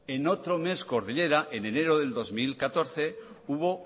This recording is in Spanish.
en otro mes cordillera en enero de dos mil catorce hubo